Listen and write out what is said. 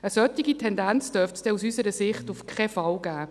Eine solche Tendenz dürfte es dann aus unserer Sicht auf keinen Fall geben.